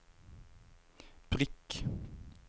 prikk